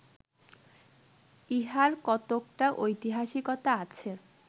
ইহার কতকটা ঐতিহাসিকতা আছে